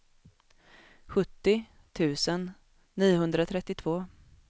sjuttio tusen niohundratrettiotvå